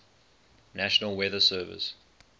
national weather service